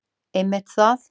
Einmitt það!